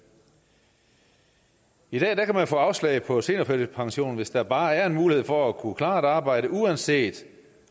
i dag kan man få afslag på seniorførtidspension hvis der bare er en mulighed for at kunne klare et arbejde uanset